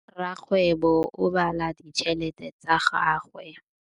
Rakgwêbô o bala tšheletê ya gagwe.